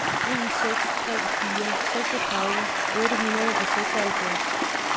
en seks tre fire seksogtredive otte hundrede og seksoghalvfjerds